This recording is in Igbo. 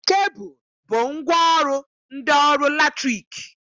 Kebụl bụ ngwaọrụ ndị ọkụ latriki